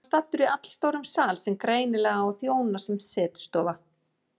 Hann er staddur í allstórum sal sem greinilega á að þjóna sem setustofa.